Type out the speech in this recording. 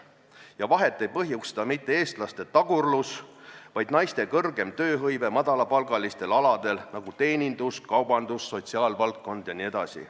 Ja vahet ei põhjusta mitte eestlaste tagurlus, vaid naiste kõrgem tööhõive madalapalgalistel aladel, nagu teenindus, kaubandus, sotsiaalvaldkond jne.